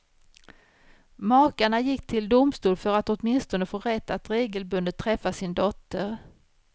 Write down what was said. Makarna gick till domstol för att åtminstone få rätt att regelbundet träffa sin dotter.